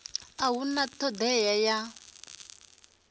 a hu na thodea ya